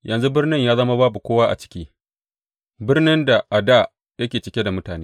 Yanzu birnin ya zama babu kowa a ciki, birnin da a dā yake cike da mutane!